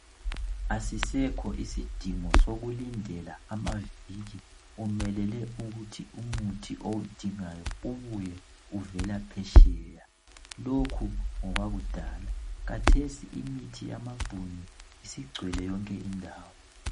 Asisekho isidingo sokulindela amaviki umelele ukuthi umuthi owudingayo ubuye uvela phetsheya. Lokhu ngokwakudala khathesi imithi yamabhunu isigcwele yonke indawo.